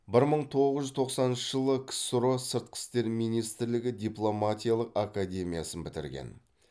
бір мың тоғыз жүз тоқсаныншы жылы ксро сыртқы істер министрлігі дипломатиялық академиясын бітірген